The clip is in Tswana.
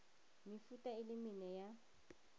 mefuta e le mene ya